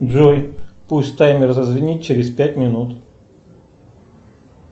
джой пусть таймер зазвенит через пять минут